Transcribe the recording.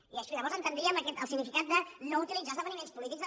i llavors entendríem el significat de no utilitzar esdeveniments polítics